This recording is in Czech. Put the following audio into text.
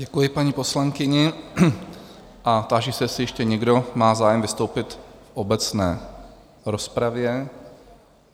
Děkuji paní poslankyni a táži se, jestli ještě někdo má zájem vystoupit v obecné rozpravě?